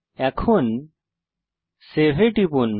এখন সেভ এ টিপুন